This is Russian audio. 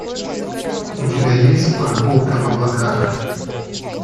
у тебя есть прогулка в облаках